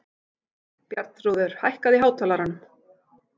Bjarnþrúður, hækkaðu í hátalaranum.